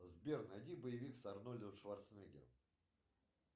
сбер найди боевик с арнольдом шварценеггером